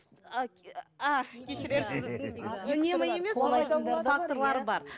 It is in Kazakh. кешірерсіз үнемі емес факторлары бар